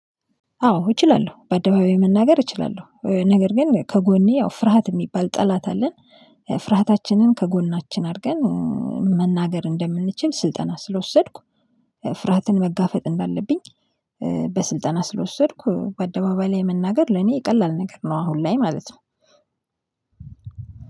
አዎ እችላለሁ በአደባባይ መናገር እችላለሁ ነገር ግን ከጎኔ ያው ፍርሃት የሚባል ጠላት አለን። ፍርሃታችንን ከጎናችን አድርገን መናገር እንደምንችል ስልጠና ስለወሰድኩ። ፍርሃትን መጋፈጥ እንዳለብኝ። በስልጠና ስለወሰድኩ በአደባባይ ላይ መናገር ለኔ የቀላል ነገር ነው አሁን ላይ ማለት ነው።